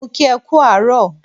Mo kí e kú àárọ̀